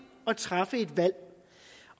at træffe et valg